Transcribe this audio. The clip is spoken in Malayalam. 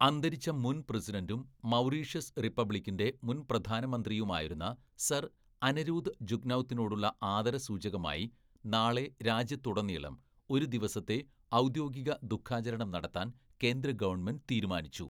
അന്തരിച്ച മുൻ പ്രസിഡന്റും മൗറീഷ്യസ് റിപ്പബ്ലിക്കിന്റെ മുൻ പ്രധാനമന്ത്രിയുമായിരുന്ന സർ അനെരൂദ് ജുഗ്നൗത്തിനോടുള്ള ആദരസൂചകമായി, നാളെ രാജ്യത്തുടനീളം ഒരു ദിവസത്തെ ഔദ്യോഗിക ദുഃഖാചരണം നടത്താൻ കേന്ദ്ര ഗവണ്മെന്റ് തീരുമാനിച്ചു.